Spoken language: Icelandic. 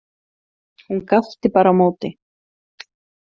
Hún gapti bara á móti.